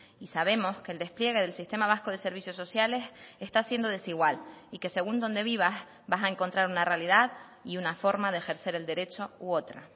y sabemos que el despliegue del sistema vasco de servicios sociales está siendo desigual y que según donde vivas vas a encontrar una realidad y una forma de ejercer el derecho u otra